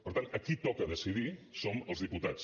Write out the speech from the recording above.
per tant a qui toca decidir som els diputats